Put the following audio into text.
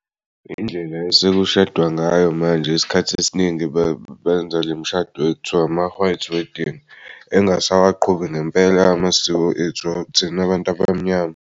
Indlela esekushadwa ngayo manje isikhathi esiningi benza le mshado ekuthiwa ama-white wedding engasawaqhubi ngempela amasiko ethu thina abant'abamnyama.